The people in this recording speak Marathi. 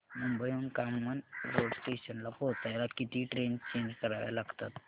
मुंबई हून कामन रोड स्टेशनला पोहचायला किती ट्रेन चेंज कराव्या लागतात